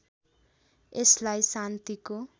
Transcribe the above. यसलाई शान्तिको